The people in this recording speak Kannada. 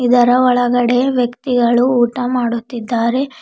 ಇದರ ಒಳಗಡೆ ವ್ಯಕ್ತಿಗಳು ಊಟ ಮಾಡುತ್ತಿದ್ದಾರೆ.